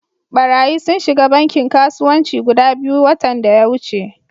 Barayyi sun shiga bankin kasuwanci guda biyu watan daya wuce.